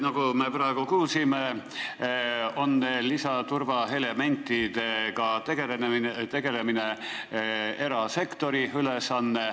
Nagu me praegu kuulsime, on lisaturvaelementidega tegelemine erasektori ülesanne.